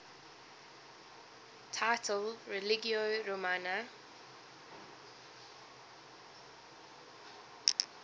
title religio romana